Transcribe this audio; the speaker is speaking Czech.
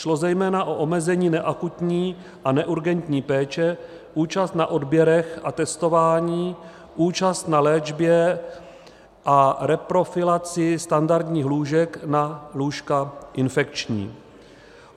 Šlo zejména o omezení neakutní a neurgentní péče, účast na odběrech a testování, účast na léčbě a reprofilaci standardních lůžek na lůžka infekční.